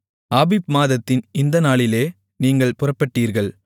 ஆபீப் மாதத்தின் இந்த நாளிலே நீங்கள் புறப்பட்டீர்கள்